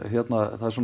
það er